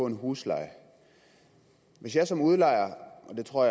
en husleje hvis jeg som udlejer og jeg tror